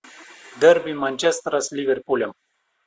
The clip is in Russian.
дерби манчестера с ливерпулем